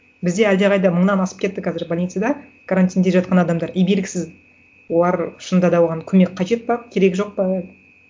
бізде әлдеқайда мыңнан асып кетті қазір больницада карантинде жатқан адамдар и белгісіз олар шынында да оған көмек қажет пе керегі жоқ па